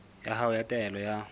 ya hao ya taelo ya